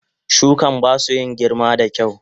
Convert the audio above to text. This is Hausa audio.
Shukan basu in girma da kyau.